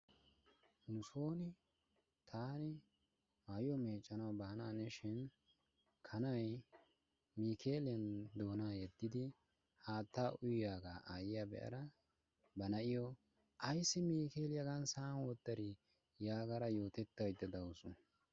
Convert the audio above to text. Nusooni taani maayuwa meeccanawu baanaanishin kanayi niikeeliyan doonaa yeddidi haattaa uyiyagaa aayyiya be"ada ba na"iyo ayssi niikeeliya hagaa sa"an wottadii yaagada yootettaydda de"awusu.